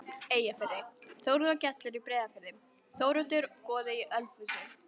Eyjafirði, Þórður gellir í Breiðafirði, Þóroddur goði í Ölfusi.